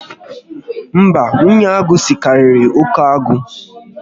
Mba, nwunye agụ sikariri oke agụ